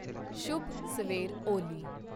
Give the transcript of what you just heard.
ਸ਼ੁਭ ਸਵੇਰ ਓਲੀ